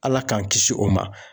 Ala k'an kisi o ma.